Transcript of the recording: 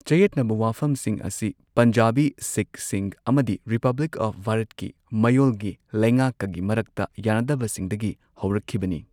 ꯆꯌꯦꯠꯅꯕ ꯋꯥꯐꯝꯁꯤꯡ ꯑꯁꯤ ꯄꯟꯖꯥꯕꯤ ꯁꯤꯈꯁꯤꯡ ꯑꯃꯗꯤ ꯔꯤꯄꯕ꯭ꯂꯤꯛ ꯑꯣꯐ ꯚꯥꯔꯠꯀꯤ ꯃꯌꯣꯜꯒꯤ ꯂꯩꯉꯥꯛꯀꯒꯤ ꯃꯔꯛꯇ ꯌꯥꯅꯗꯕꯁꯤꯡꯗꯒꯤ ꯍꯧꯔꯛꯈꯤꯕꯅꯤ꯫